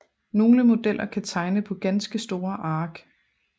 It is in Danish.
Nogle modeller kan tegne på ganske store ark